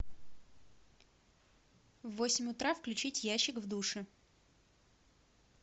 в восемь утра включить ящик в душе